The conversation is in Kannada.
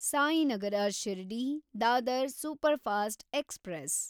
Sainagar ಶಿರ್ಡಿ–ದಾದರ್ superfast express